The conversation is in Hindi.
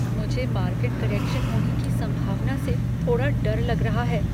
मुझे मार्केट करेक्शन होने की संभावना से थोड़ा डर लग रहा है।